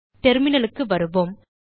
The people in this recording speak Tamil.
terminalக்கு வருவோம்